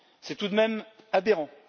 C'est tout de même aberrant!